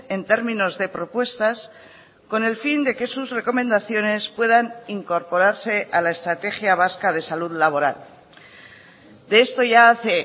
en términos de propuestas con el fin de que sus recomendaciones puedan incorporarse a la estrategia vasca de salud laboral de esto ya hace